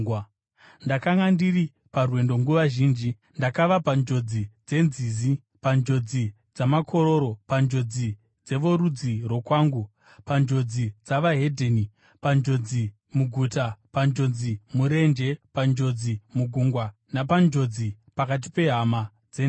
ndakanga ndiri parwendo nguva zhinji. Ndakava panjodzi dzenzizi, panjodzi dzamakororo, panjodzi dzevorudzi rwokwangu, panjodzi dzavaHedheni, panjodzi muguta, napanjodzi murenje, panjodzi mugungwa, napanjodzi pakati pehama dzenhema.